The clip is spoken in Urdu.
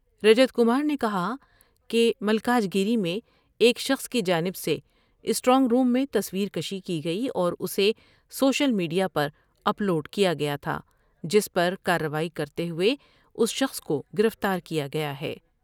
رجت کمار نے کہا کہ ملکاجگیری میں ایک شخص کی جانب سے اسٹرائنگ روم میں تصور کشی کی گئی اور اسے سوشل میڈ یا پر اپ لوڈ کیا گیا تھا جس پر کاروائی کرتے ہوۓ اس شخص کو گرفتار کیا گیا ہے ۔